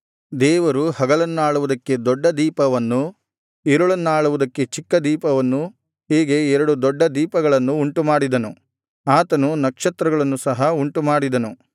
ದೇವರು ಹಗಲನ್ನಾಳುವುದಕ್ಕೆ ದೊಡ್ಡ ದೀಪವನ್ನೂ ಇರುಳನ್ನಾಳುವುದಕ್ಕೆ ಚಿಕ್ಕ ದೀಪವನ್ನೂ ಹೀಗೆ ಎರಡು ದೊಡ್ಡ ದೀಪಗಳನ್ನು ಉಂಟು ಮಾಡಿದನು ಆತನು ನಕ್ಷತ್ರಗಳನ್ನು ಸಹ ಉಂಟು ಮಾಡಿದನು